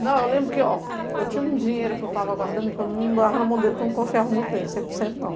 Não, eu lembro que, ó, eu tinha um dinheiro que eu estava guardando porque eu não dava na mão dele porque eu não confiava muito nele, cem por cento não.